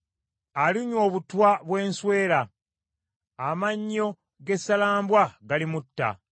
Alinywa obutwa bw’ensweera; amannyo g’essalambwa galimutta.